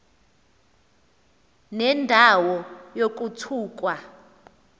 nenda wo yokuthukwa